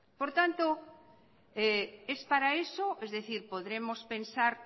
por tanto es para eso es decir podremos pensar